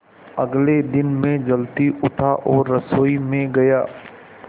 अगले दिन मैं जल्दी उठा और रसोई में गया